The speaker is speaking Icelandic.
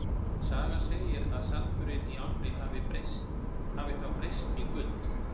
Sagan segir að sandurinn í ánni hafi þá breyst í gull.